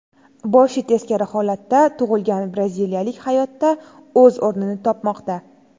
Boshi teskari holatda tug‘ilgan braziliyalik hayotda o‘z o‘rnini topmoqda.